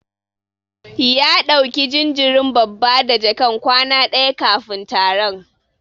Ya dauki jinjirin babba da jakan kwana daya kafin taron.